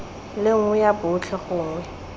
le nngwe ya botlhe gongwe